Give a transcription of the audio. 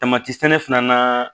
Tamati sɛnɛ fana naa